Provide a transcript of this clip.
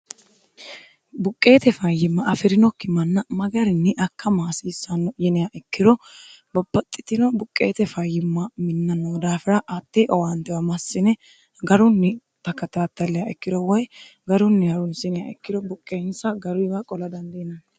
buqqeete fayyimma afi'rinokki manna magarinni akka hasiissanno yinea ikkiro babbaxxitino buqqeete fayyimma minna noo daafira atte owaantewa massine garunni bakatattallea ikkiro woy garunni harunsinha ikkiro buqqeensa garuyiwa qola dandiinanni